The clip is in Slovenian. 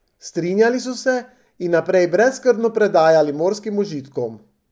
Strinjali so se in naprej brezskrbno predajali morskim užitkom.